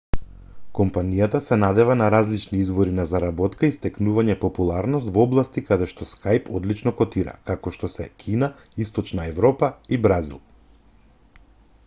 компанијата се надева на различни извори на заработка и стекнување популарност во области каде што skype одлично котира како што се кина источна европа и бразил